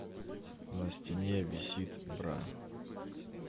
на стене висит бра